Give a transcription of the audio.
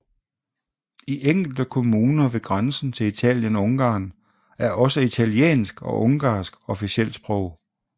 I enkelte kommuner ved grænsen til Italien og Ungarn er også italiensk og ungarsk officielt sprog